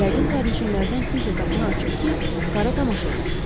Yəqin sərnişinlərdən kimsə qapını açıb ki, qara tamaşa eləsin.